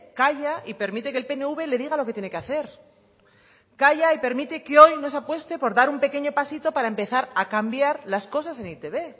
calla y permite que el pnv le diga lo que tiene que hacer calla y permite que hoy no se apueste por dar un pequeño pasito para empezar a cambiar las cosas en e i te be